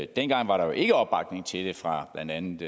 dengang var der jo ikke opbakning til det fra blandt andet